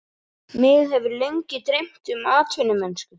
Mig hefur lengi dreymt um atvinnumennsku